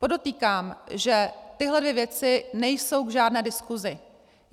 Podotýkám, že tyhle dvě věci nejsou k žádné diskusi.